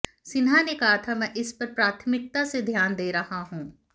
सिन्हा ने कहा मैं इस पर प्राथमिकता से ध्यान दे रहा हूं